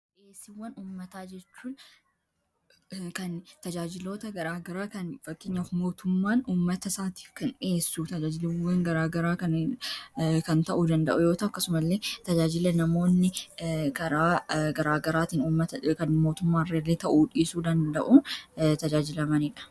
Dhiyeessiwwan ummataa jechuu kan tajaajiloota garaagaraa kan mootummaan ummata isaatiif kan dhi'eessu tajaajiliwwan garaagaraa kan ta'uu danda'u yoo ta'u. Akkasuma illee tajaajila namoonni garaa garaatiin ummata kan mootummaan irra ta'uu dhiisuu danda'uu tajaajilamaniidha.